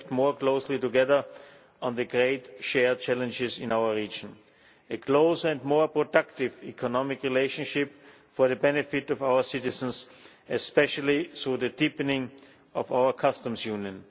acting more closely together on the great shared challenges in our region a close and more productive economic relationship for the benefit of our citizens, especially through the deepening of our customs union